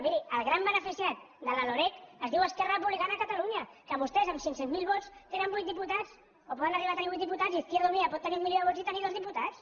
miri el gran beneficiat de la loreg es diu esquerra republicana de catalunya que vostès amb cinc cents miler vots tenen vuit diputats o poden arribar a tenir vuit diputats i izquierda unida pot tenir un milió de vots i tenir dos diputats